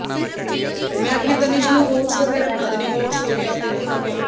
ਮੈਂ ਆਪਣੀ ਤਨੀਸ਼ ਨੂੰ oats ਵਗੇਰਾ ਬਣਾ ਦਿੰਦੀ ਹਾਂ oats ਹੋ ਗਿਆ ਦਲੀਆ ਹੋ ਗਿਆ